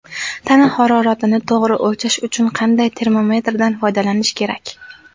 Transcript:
Tana haroratini to‘g‘ri o‘lchash uchun qanday termometrdan foydalanish kerak?.